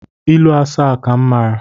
Ilu asaa ka m mara